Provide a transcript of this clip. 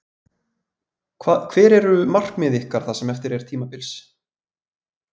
Hver eru markmið ykkar það sem eftir er tímabils?